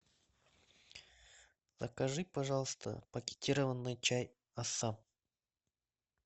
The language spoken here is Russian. закажи пожалуйста пакетированный чай ассан